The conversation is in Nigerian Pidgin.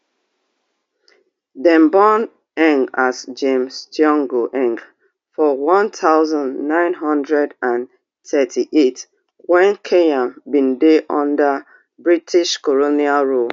dem born as james thiongo for one thousand, nine hundred and thirty-eight wen kenya bin dey under british colonial rule